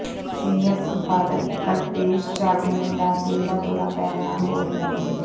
senior ਸੰਪਾਦਕ ਕਲਪੇਸ਼ ਯਾਗਨਿਕ ਦਾ ਦਿਲ ਦਾ ਦੌਰਾ ਪੈਣ ਨਾਲ ਹੋਈ ਮੌਤ